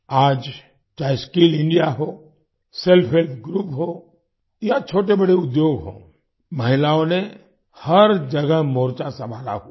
आज चाहे skill India हो सेल्फ हेल्प ग्रुप हो या छोटे बड़े उद्योग हो महिलाओं ने हर जगह मोर्चा संभाला हुआ है